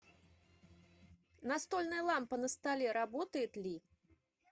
настольная лампа на столе работает ли